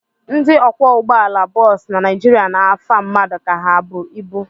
Ndị ọkwọụgbọala bọs na Naijiria na-afa mmadụ ka ha bụ ibu.